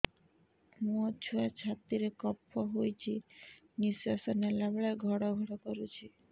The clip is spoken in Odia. ମୋ ଛୁଆ ଛାତି ରେ କଫ ହୋଇଛି ନିଶ୍ୱାସ ନେଲା ବେଳେ ଘଡ ଘଡ କରୁଛି